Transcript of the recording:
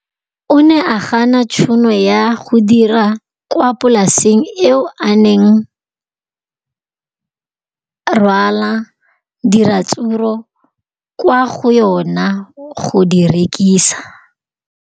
O ne a gana tšhono ya go dira kwa polaseng eo a neng rwala diratsuru kwa go yona go di rekisa.